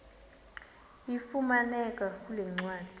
ifumaneka kule ncwadi